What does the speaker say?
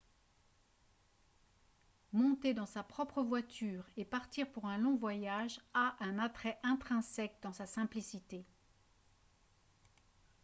monter dans sa propre voiture et partir pour un long voyage a un attrait intrinsèque dans sa simplicité